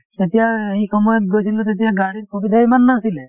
তেতিয়া সেই সময়ত গৈছিলো তেতিয়া গাড়ীৰ সুবিধা ইমান নাছিলে